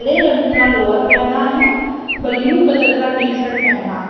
हरे रंग का लोवर पहना है ब्लू कलर का टी शर्ट पहना है।